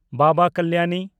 Baba Kalyani